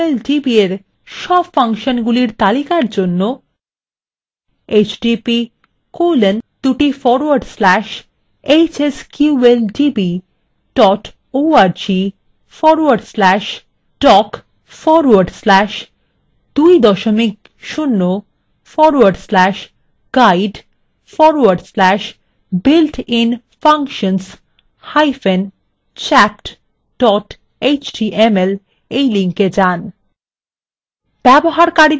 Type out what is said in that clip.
hsqldb –এর সব ফাংশনগুলির তালিকার জন্য: